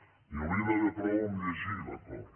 n’hi hauria d’haver prou en el fet de llegir l’acord